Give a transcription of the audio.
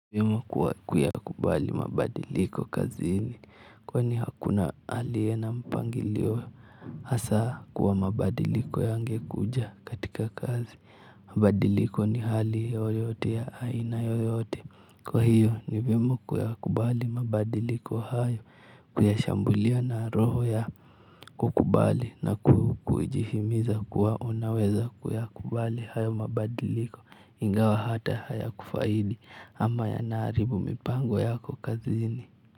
Kuyakubali mabadiliko kazini kwani hakuna aliye na mpangilio hasa kwa mabadiliko yangekuja katika kazi mabadiliko ni hali yoyote ya aina yoyote kwa hiyo ni vyema kuyakubali mabadiliko hayo kuyashambulia na roho ya kukubali na kujihimiza kuwa unaweza kuyakubali hayo mabadiliko. Ingawa hata haya kufaidi ama yanaharibu mipango yako kazini.